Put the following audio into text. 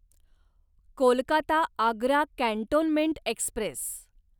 Kolkata Agra cantonment Express